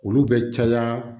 Olu bɛ caya